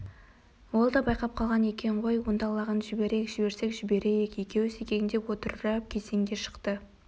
ол да байқап қалған екен қой онда лағын жіберейік жіберсек жіберейік екеуі секеңдеп отырып кезеңге шықты